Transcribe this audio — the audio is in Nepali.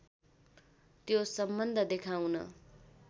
त्यो सम्बन्ध देखाउन